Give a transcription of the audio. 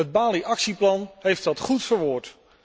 Het Bali actieplan heeft dat goed verwoord.